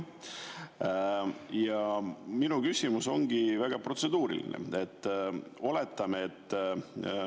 Minu küsimus ongi väga protseduuriline.